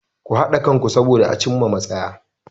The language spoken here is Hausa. Ku haɗa kanku soboda a cin ma matsaya.